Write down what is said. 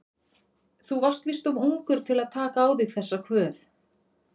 Þú varst víst of ungur til að taka á þig þessa kvöð.